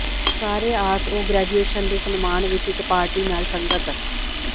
ਸਾਰੇ ਆਸ ਉਹ ਗ੍ਰੈਜੂਏਸ਼ਨ ਦੇ ਸਨਮਾਨ ਵਿਚ ਇਕ ਪਾਰਟੀ ਨਾਲ ਸੰਗਤ